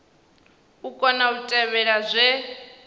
u kona u tevhela zwe